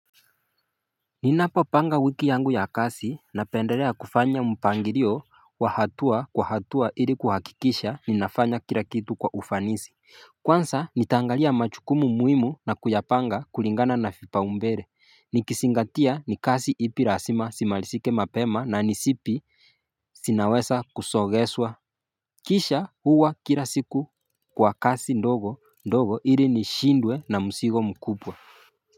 Ninapopanga wiki yangu ya kazi napenderea kufanya mpanglio wa hatua kwa hatua ili kuhakikisha ninafanya kila kitu kwa ufanisi Kwanza nitangalia majukumu na kuyapanga kulingana na vipaumbele nikizingatia ni kazi ipi lazima zimalizike mapema na ni zipi zinaweza kusogeshwa Kisha huwa kila siku Kwa kazi ndogo ndogo ili nishindwe na mzigo mkubwa.